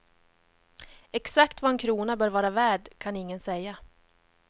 Exakt vad en krona bör vara värd kan ingen säga.